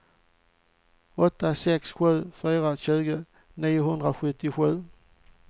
åtta sex sju fyra tjugo niohundrasjuttiosju